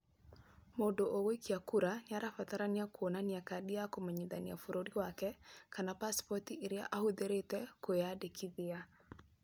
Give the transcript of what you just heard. Mũndũ ũgũikia kura nĩ arabatara kuonania kandi ya kũmenyithia bũrũri wake kana pasipoti ĩrĩa ahũthĩrĩte kwĩandĩkithia.